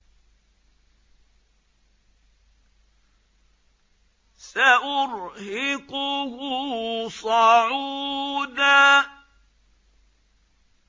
سَأُرْهِقُهُ صَعُودًا